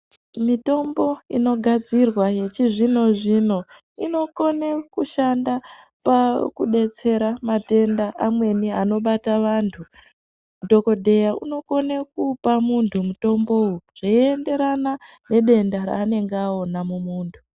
Mitombo inogadzirwa yechizvino-zvino inokone kushanda pakudetsera matenda amweni anobata vantu. Dhokodheya unokone kupa muntu mutombowo zveienderana nedenda raanenge aona mumuntu.